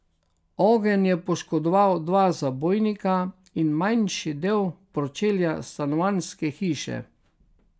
Ogenj je poškodoval dva zabojnika in manjši del pročelja stanovanjske hiše.